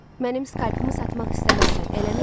Mənim skalpımı satmaq istəməzsən, eləmi?